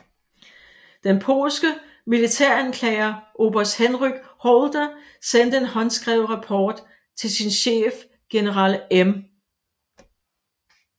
Den polske militæranklager oberst Henryk Holder sendte en håndskrevet rapport til sin chef general M